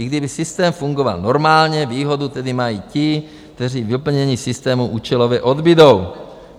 I kdyby systém fungoval normálně, výhodu tedy mají ti, kteří vyplnění systému účelově odbudou.